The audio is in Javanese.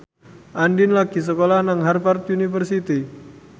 Andien lagi sekolah nang Harvard university